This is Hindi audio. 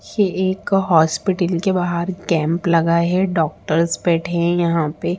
ये एक हॉस्पिटल के बाहर कैंप लगा है डॉक्टर्स बैठे हैं यहाँ पे।